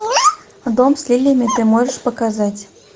дом с лилиями ты можешь показать